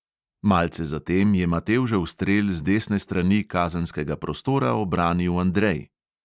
Malce zatem je matevžev strel z desne strani kazenskega prostora obranil andrej.